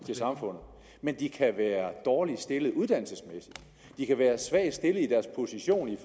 til samfundet men de kan være dårligt stillede uddannelsesmæssigt de kan være svagt stillede i deres position i